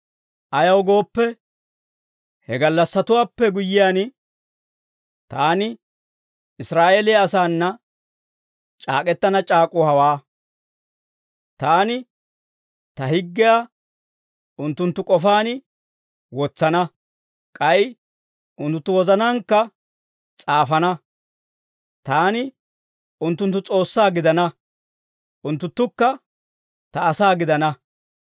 Ayaw gooppe, he gallassatuwaappe guyyiyaan, taani Israa'eeliyaa asaana c'aak'k'etana c'aak'uu hawaa: Taani ta higgiyaa unttunttu k'ofaan wotsana; k'ay unttunttu wozanaankka s'aafana. Taani unttunttu S'oossaa gidana; unttunttukka ta asaa gidana.